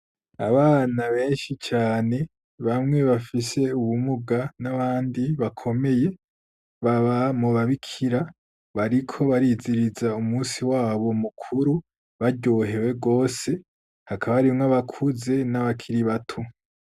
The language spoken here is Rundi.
Abana benshi cane bamwe bafise ubumuga n'abandi bakomeye baba mubabikira bariko bariziriza umusi wabo mukuru baryohewe rwose hakaba arimwo abakuze n'abakiri bato.